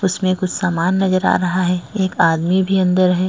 उसमें कुछ सामान नजर आ रहा है एक आदमी भी अंदर है।